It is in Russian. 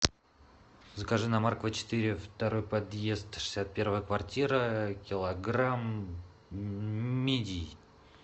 закажи на маркова четыре второй подъезд шестьдесят первая квартира килограмм мидий